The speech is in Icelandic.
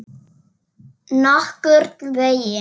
Nokkurn veginn.